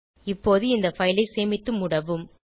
இப்போது இந்த பைல் ஐ சேமித்து மூடவும்